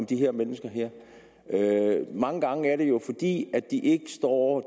de her mennesker mange gange er det jo fordi de ikke står